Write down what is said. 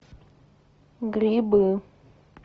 грибы